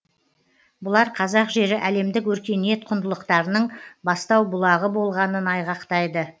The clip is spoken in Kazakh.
бұлар қазақ жері әлемдік өркениет құндылықтарының бастау бұлағы болғанын айғақтайды